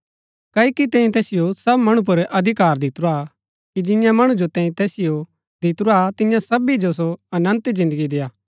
क्ओकि तैंई तैसिओ सब मणु पुर अधिकार दितुरा कि जिंआ मणु जो तैंई तैसिओ दितुरा तियां सबी जो सो अनन्त जिन्दगी देय्आ